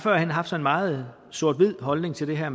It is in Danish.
haft en meget sort hvid holdning til det her